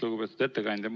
Lugupeetud ettekandja!